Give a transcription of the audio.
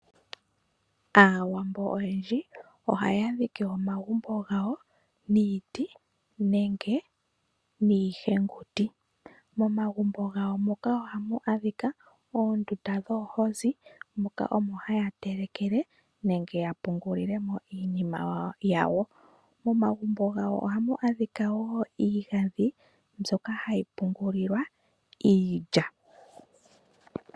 Aawambo oyendji ohaya dhike omagumbo gawo niiti nenge niihenguti. Momagumbo gawo moka ohamu adhika oondunda dhoohozi moka omo ha ya telekele nenge ya pungulile mo iinima yawo. Momagumbo gawo oha mu adhika wo iigandhi mbyoka ha yi pungulilwa iilya.